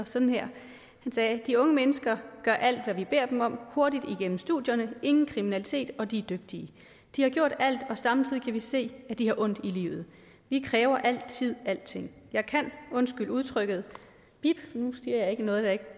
sådan her de unge mennesker gør alt hvad vi beder dem om hurtigt igennem studierne ingen kriminalitet og de er dygtige de har gjort alt og samtidig kan vi se at de har ondt i livet vi kræver altid alting jeg kan undskyld udtrykket bip nu siger jeg ikke noget jeg ikke